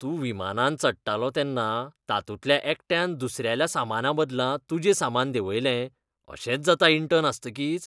तूं विमानांत चडटालो तेन्ना तातूंतल्या एकट्यान दुसऱ्याल्या सामानाबदला तुजें सामान देंवयलें. अशेंच जाता इंटर्न आसतकीच .